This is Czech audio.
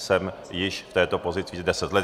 Jsem již v této pozici deset let.